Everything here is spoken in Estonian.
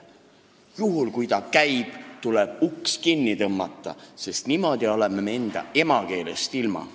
Juhul, kui ta käib kuhugi, tuleb uks kinni tõmmata, sest muidu oleme oma emakeelest ilma.